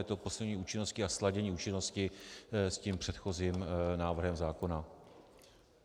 Je to posunutí účinnosti a sladění účinnosti s tím předchozím návrhem zákona.